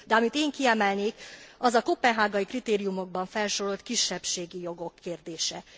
De amit én kiemelnék, az a koppenhágai kritériumokban felsorolt kisebbségi jogok kérdése.